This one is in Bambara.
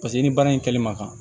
Paseke ni baara in kɛli ma ka